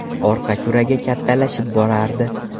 Orqa kuragi kattalashib borardi.